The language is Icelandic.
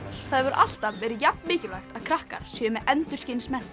það hefur alltaf verið jafn mikilvægt að krakkar séu með endurskinsmerki